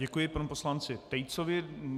Děkuji panu poslanci Tejcovi.